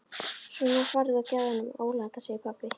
Svona farðu og gefðu honum Óla þetta segir pabbi.